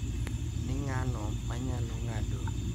Ni ng`ano ma nyalo ng`ado yowuoyi mang`eny.